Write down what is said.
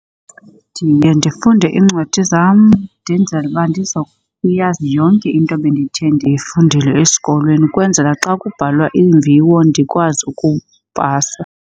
Ndiye ndifunde iincwadi zam ndenzele uba ndiza kuyazi yonke into ebendithe ndiyifundile esikolweni ukwenzela xa kubhalwa iimviwo ndikwazi ukupasa.